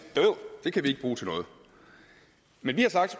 det kan den ikke bruge til noget men vi har sagt